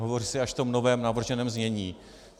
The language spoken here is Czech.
Hovoří se až v tom novém navrženém znění.